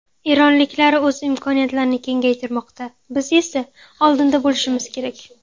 Eronliklar o‘z imkoniyatlarini kengaytirmoqda, biz esa oldinda bo‘lishimiz kerak.